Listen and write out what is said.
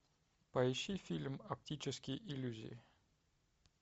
поищи фильм оптические иллюзии